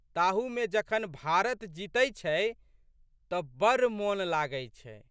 ताहूमे जखन भारत जीतै छै तऽ बड़ मोन लागै छै।